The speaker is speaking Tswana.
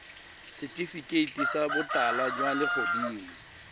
setifikeiti sa botala jwa legodimo